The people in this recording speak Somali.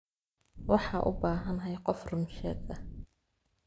Waxa ubahanhy qof ruun sheeg eh.